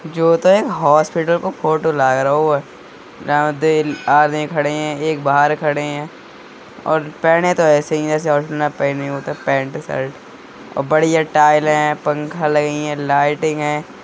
जो होता है हॉस्पिटल का फोटो लाग रहो है यहाँ दो आदमी खड़े हैं एक बाहर खड़े हैं और पहने तो इसे ही है जैसे हॉस्पिटल में पहने होते हैं पेंट शर्ट बढ़िया टाइल हैं पंखा लगी हैं लाइटिंग हैं।